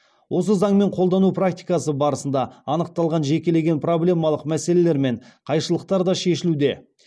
осы заңмен қолдану практикасы барысында анықталған жекелеген проблемалық мәселелер мен қайшылықтар да шешілуде